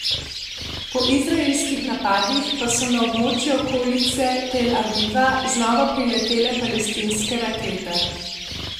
Po izraelskih napadih pa so na območje okolice Tel Aviva znova priletele palestinske rakete.